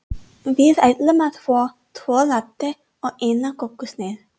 Við ætlum að fá tvo latte og eina kökusneið.